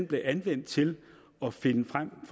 blev anvendt til at finde frem